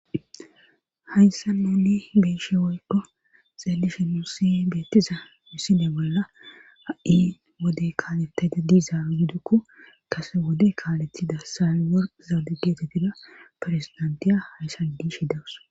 Hayssan mali biishi woyko xeelishi nusi beettiza miside bolla a7i wode kaalettayda diizaaro gidukko kase wode kaaletida saior zaade geetettida firezdantiya hayssan diishidawus